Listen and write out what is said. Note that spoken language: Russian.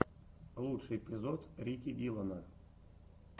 лучший эпизод рики диллона